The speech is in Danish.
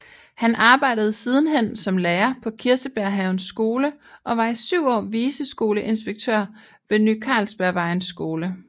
Han arbejdede sidenhen som lærer på Kirsebærhavens Skole og var i syv år viceskoleinspektør ved Ny Carlsbergvejens Skole